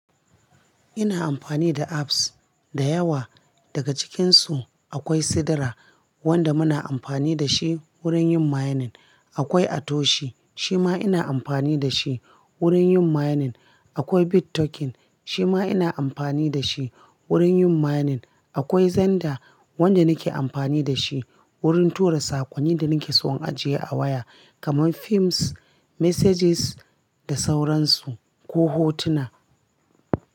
Ina amfani da apps da yawa. Daga cikinsu akwai Sidra wanda muna amfani da shi wurin yin mining. Akwai Atoshi shima ina amfani da shi wurin yin mining. Akwai Bit token shima ina amfani da shi wurin yin mining. Akwai xender wanda nake amfani da shi wurin tura sakonni da nake so an ajiye a waya kamar films, messages da sauransu ko hotuna.